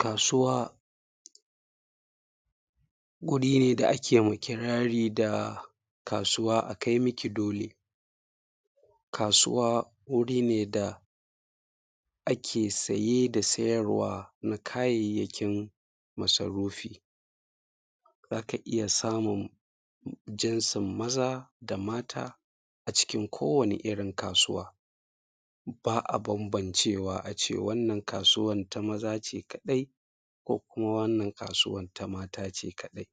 Kasuwa, guri ne da ake ma kirari da kasuwa akai miki dole. Kasuwa wuri ne da ake saye da sayarwa na kayayyakin masarufi. Za ka iya samun jinsin maza da mata a cikin kowani irin kasuwa, ba a bambancewa ace wannan kasuwan ta maza ce kaɗai ko kuma wannan kasuwan ta mata ce kaɗai.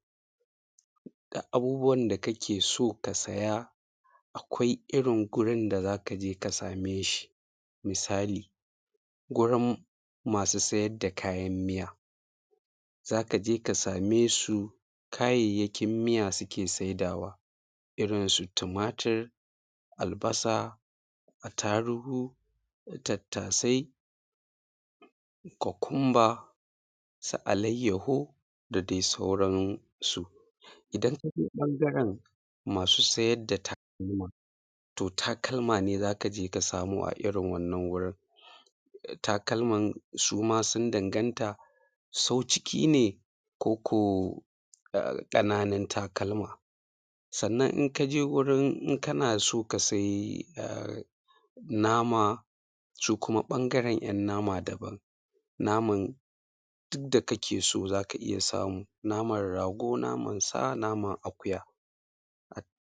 Duk abubuwan da kake so ka saya, akwai irin gurin da za ka je ka sameshi. Misali, gurin masu sayar da kayan miya, za ka je ka samesu, kayayyakin miya suke saidawa, irin su timatir, albasa, attaruhu, tattasai, kokumba, su alaiyaho, da dai sauransu. Idan ka zo ɓangaren masu sayar da takalma, to takalma ne za ka je ka samo a irin wannan wurin. Um takalman suma sun danganta, sau-ciki ne, ko ko um kananun takalma. Sanan in ka je gurin in kana so kasai um nama, sukuma bangaren 'yan nama daban. Naman duk da kake so za ka iya samu naman rago, naman sana, naman akuya.